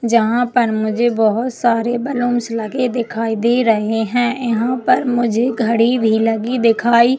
यहाँ पर मुझे बहुत सारे बलूनस लगे दिखाई दे रहै है यहाँ पे मुझे घड़ी भी लगी दिखाई --